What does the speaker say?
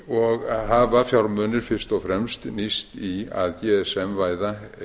og hafa fjármunir fyrst og fremst nýst í að gsm væða